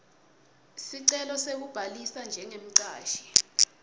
sicelo sekubhalisa njengemcashi